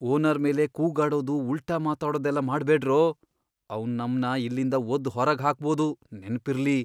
Owner ಮೇಲೆ ಕೂಗಾಡೋದು, ಉಲ್ಟಾ ಮಾತಾಡೋದೆಲ್ಲ ಮಾಡ್ಬೇಡ್ರೋ! ಅವ್ನ್ ನಮ್ನ ಇಲ್ಲಿಂದ ಒದ್ದು ಹೊರಗ್ ಹಾಕ್ಬೋದು, ನೆನ್ಪಿರ್ಲಿ!